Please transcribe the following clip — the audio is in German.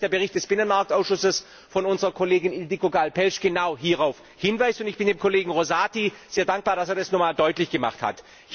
Ich finde, dass der Bericht des Binnenmarktausschusses von unserer Kollegin Ildikó Gáll Pelcz genau hierauf hinweist, und ich bin dem Kollegen Rosati sehr dankbar, dass er das noch einmal deutlich gemacht hat.